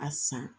A san